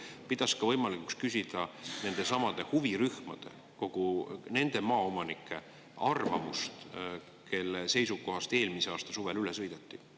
Kas komisjon pidas ka võimalikuks küsida nendesamade huvirühmade, nende maaomanike arvamust, kelle seisukohast eelmise aasta suvel üle sõideti?